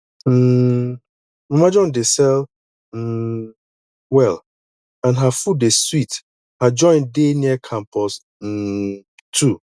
um mama john dey sell um well and her food dey sweet her joint dey near campus um two